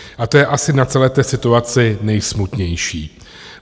A to je asi na celé té situaci nejsmutnější.